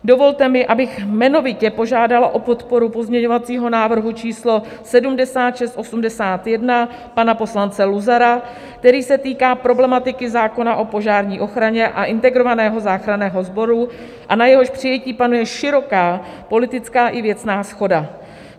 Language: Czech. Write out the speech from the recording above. Dovolte mi, abych jmenovitě požádala o podporu pozměňovacího návrhu číslo 7681 pana poslance Luzara, který se týká problematiky zákona o požární ochraně a integrovaného záchranného sboru a na jehož přijetí panuje široká politická i věcná shoda.